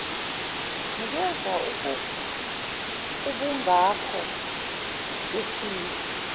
nikeza ubungako besiza